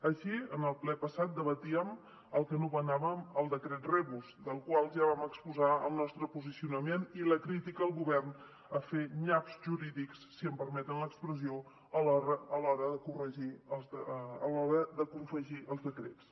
així en el ple passat debatíem el que anomenàvem el decret rebus del qual ja vam exposar el nostre posicionament i la crítica al govern a fer nyaps jurídics si em permeten l’expressió a l’hora de confegir els decrets